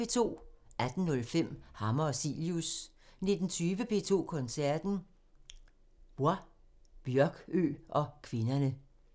18:05: Hammer og Cilius 19:20: P2 Koncerten – Bols, Bjørkøe og kvinderne